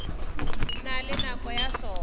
na le nako ya sona